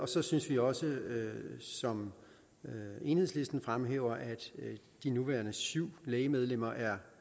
så synes vi også som enhedslisten fremhæver det at de nuværende syv læge medlemmer er